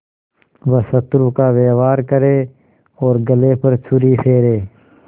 वह शत्रु का व्यवहार करे और गले पर छुरी फेरे